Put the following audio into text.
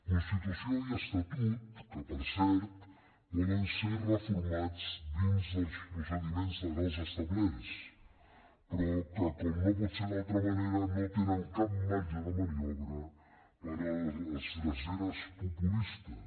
constitució i estatut que per cert poden ser reformats dins dels procediments legals establerts però que com no pot ser d’altra manera no tenen cap marge de maniobra per a les dreceres populistes